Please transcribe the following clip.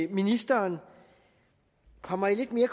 ministeren kommer lidt mere